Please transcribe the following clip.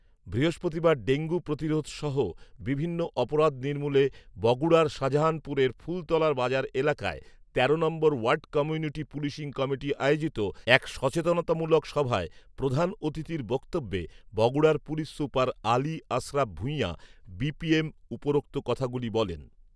বৃহস্পতিবার ডেঙ্গু প্রতিরোধসহ বিভিন্ন অপরাধ নির্মূলে বগুড়ার শাজাহানপুরের ফুলতলার বাজার এলাকায় তেরো নং ওয়ার্ড কমিউনিটি পুলিশিং কমিটি আয়োজিত এক সচেতনতামূলক সভায় প্রধান অতিথির বক্তব্যে বগুড়ার police super Ali Ashraf Bhuiyan BPM উপরোক্ত কথাগুলি বলেন